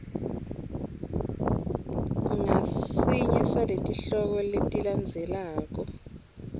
ngasinye saletihloko letilandzelako